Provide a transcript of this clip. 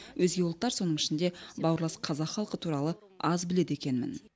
өзге ұлттар соның ішінде бауырлас қазақ халқы туралы аз біледі екенмін